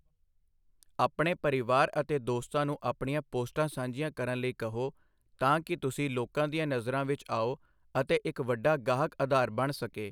ਆਪਣੇ ਪਰਿਵਾਰ ਅਤੇ ਦੋਸਤਾਂ ਨੂੰ ਆਪਣੀਆਂ ਪੋਸਟਾਂ ਸਾਂਝੀਆਂ ਕਰਨ ਲਈ ਕਹੋ ਤਾਂ ਕਿ ਤੁਸੀਂ ਲੋਕਾਂ ਦੀਆਂ ਨਜ਼ਰਾਂ ਵਿੱਚ ਆਓ ਅਤੇ ਇੱਕ ਵੱਡਾ ਗਾਹਕ ਅਧਾਰ ਬਣ ਸਕੇ।